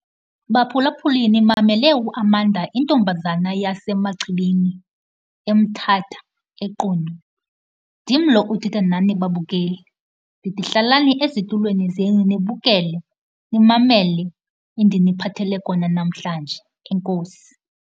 Baphulaphuli, nimamele uAmanda, intombazana yaseMachibini eMthatha, eQunu. Ndim lo uthetha nani babukeli, ndithi hlalani ezitulweni zenu nibukele, nimamele endiniphathele kona namhlanje. Enkosi.